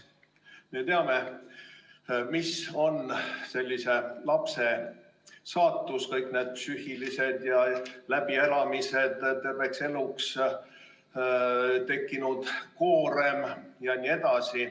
Me teame, mis on sellise lapse saatus – kõik need psüühilised läbielamised, terveks eluks tekkinud koorem jne.